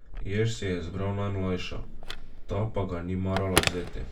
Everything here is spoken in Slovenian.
Jež si je izbral najmlajšo, ta pa ga ni marala vzeti.